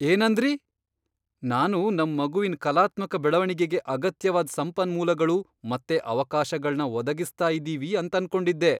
ಏನಂದ್ರಿ?! ನಾನು ನಮ್ ಮಗುವಿನ್ ಕಲಾತ್ಮಕ ಬೆಳವಣಿಗೆಗೆ ಅಗತ್ಯವಾದ್ ಸಂಪನ್ಮೂಲಗಳು ಮತ್ತೆ ಅವಕಾಶಗಳ್ನ ಒದಗಿಸ್ತಾ ಇದ್ದೀವಿ ಅಂತನ್ಕೊಂಡಿದ್ದೆ.